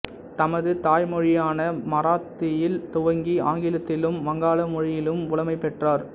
தமது தாய்மொழியான மராத்தியில் துவங்கி ஆங்கிலத்திலும் வங்காள மொழியிலும் புலமை பெற்றாா்